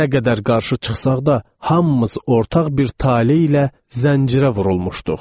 Nə qədər qarşı çıxsaq da, hamımız ortaq bir tale ilə zəncirə vurulmuşduq.